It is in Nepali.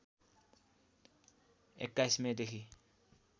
२१ मे देखि